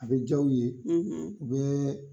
A be jaw ye u bɛ